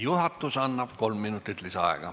Juhatus annab kolm minutit lisaaega.